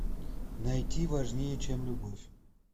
найти важнее чем любовь